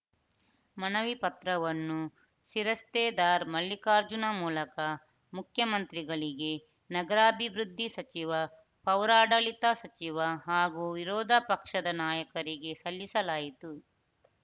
ಮನವಿ ಪತ್ರವನ್ನು ಶಿರಸ್ತೇದಾರ್‌ ಮಲ್ಲಿಕಾರ್ಜುನ ಮೂಲಕ ಮುಖ್ಯಮಂತ್ರಿಗಳಿಗೆ ನಗರಾಭಿವೃದ್ಧಿ ಸಚಿವ ಪೌರಾಡಳಿತ ಸಚಿವ ಹಾಗೂ ವಿರೋಧಪಕ್ಷದ ನಾಯಕರಿಗೆ ಸಲ್ಲಿಸಲಾಯಿತು